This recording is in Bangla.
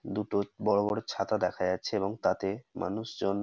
দুটো বড় বড় ছাতা দেখা যাচ্ছে এবং তাতে মানুষজন--